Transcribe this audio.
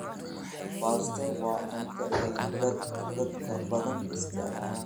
Baasto waa cunto ay dadka badan isticmaalaan.